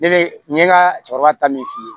Ne be n ye ka cɛkɔrɔba ta min f'i ye